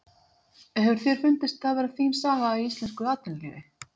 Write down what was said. Hefur þér fundist það vera þín saga í íslensku athafnalífi?